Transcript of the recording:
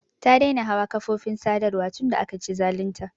Ta daina hawa kafofin sadarwa tun da aka ci zalun ta.